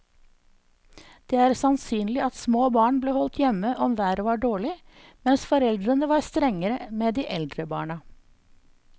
Det er sannsynlig at små barn ble holdt hjemme om været var dårlig, mens foreldrene var strengere med de eldre barna.